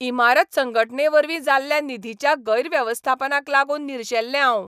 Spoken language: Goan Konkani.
इमारत संघटनेवरवीं जाल्ल्या निधीच्या गैरव्यवस्थापनाक लागून निर्शेल्लें हांव.